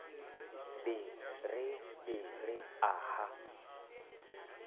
be re be re aha